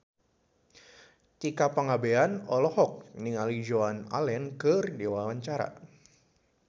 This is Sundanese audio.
Tika Pangabean olohok ningali Joan Allen keur diwawancara